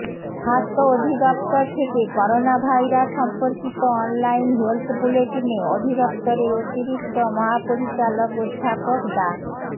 স্বাস্থ্য অধিদফতর থেকে করোনাভাইরাস সম্পর্কিত অনলাইন হেলথ বুলেটিনে অধিদফতরের অতিরিক্ত মহাপরিচালক অধ্যাপক ডা